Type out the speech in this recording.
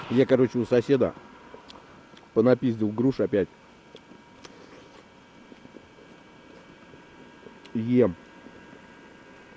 я короче у соседа по напиздил груш опять и ем